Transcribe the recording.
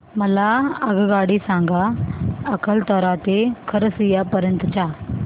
मला आगगाडी सांगा अकलतरा ते खरसिया पर्यंत च्या